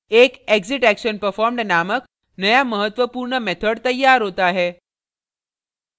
एक exitactionperformed named नया महत्वपूर्ण method तैयार होता है